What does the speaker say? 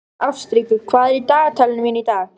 Ástríkur, hvað er í dagatalinu mínu í dag?